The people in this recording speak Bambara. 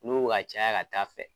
N'u bɛ ka caya ka taa fɛ.